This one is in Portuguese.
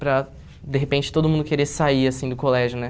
Para, de repente, todo mundo querer sair, assim, do colégio, né?